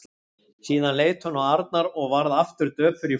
Síðan leit hún á Arnar og varð aftur döpur í framan.